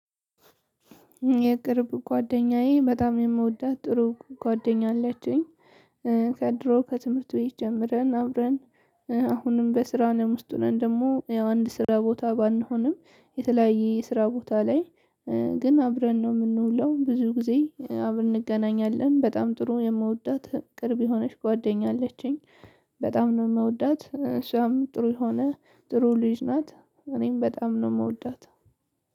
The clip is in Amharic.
የቅርብ ጓደኛዬ በጣም የምወዳት ጥሩ ጓደኛ አለችኝ። ከድሮ ከትምህርት ቤት ጀምረን አብረን አሁንም በስራ አለም ውስጥ ሆነን ደግሞ አንድ ስራ ቦታ ባንሆንም የተለያየ ስራ ቦታ ላይ። ግን አብረን ነው የምንውለው ብዙ ጊዜ አብረን እንገናኛለን በጣም ጥሩ የምወዳት ቅርብ የሆነች ጓደኛ አለችኝ። በጣም ነው የምወዳት እሷም ጥሩ የሆነ ጥሩ ልጅ ናት። እኔም በጣም ነው የምወዳት።